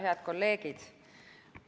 Head kolleegid!